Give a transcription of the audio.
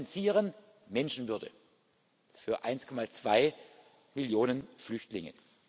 Wir finanzieren Menschenwürde für 1,2 Millionen Flüchtlinge.